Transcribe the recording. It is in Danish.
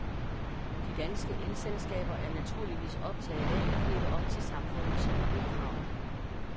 De danske elselskaber er naturligvis optaget af at leve op til samfundets miljøkrav.